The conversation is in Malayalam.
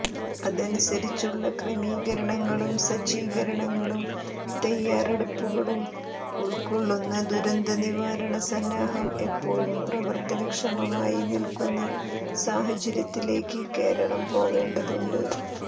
അതനുസരിച്ചുള്ള ക്രമീകരണങ്ങളും സജ്ജീകരണങ്ങളും തയാറെടുപ്പുകളും ഉൾക്കൊള്ളുന്ന ദുരന്തനിവാരണ സന്നാഹം എപ്പോഴും പ്രവർത്തനക്ഷമമായി നിൽക്കുന്ന സാഹചര്യത്തിലേക്ക് കേരളം പോവേണ്ടതുണ്ട്